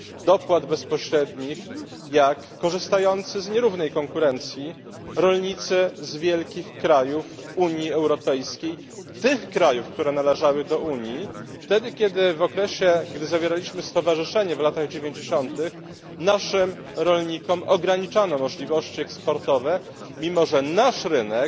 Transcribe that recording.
dopłat bezpośrednich jak korzystający z nierównej konkurencji rolnicy z wielkich krajów Unii Europejskiej tych krajów, które należały do Unii wtedy, kiedy w okresie gdy zawieraliśmy stowarzyszenie w latach dziewięćdziesiątych naszym rolnikom ograniczano możliwości eksportowe, mimo że nasz rynek